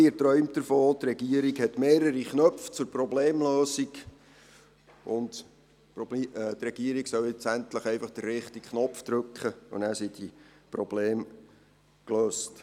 Er träumt davon, dass die Regierung mehrere Knöpfe zur Problemlösung hat, die Regierung nun endlich den richtigen Knopf drücken solle, und dann sind diese Probleme gelöst.